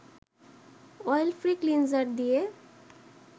oil free cleanser দিয়ে